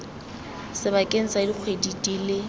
sebakeng sa dikgwedi di le